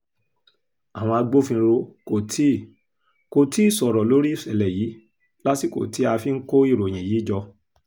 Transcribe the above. àwọn agbófinró kò tí kò tí ì sọ̀rọ̀ lórí ìṣẹ̀lẹ̀ yìí lásìkò tí a fi ń kó ìròyìn yìí jọ